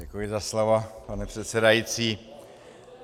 Děkuji za slovo, pane předsedající.